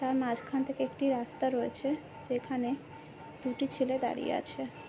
তার মাঝখান থেকে একটি রাস্তা রয়েছে যেখানে দুটি ছেলে দাঁড়িয়ে আছে।